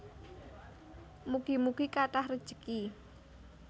Mugi mugi kathah rejeki